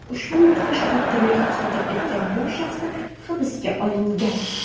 Ushbu mudhish qotillik sodir etgan bu shaxslar hibsga olingan.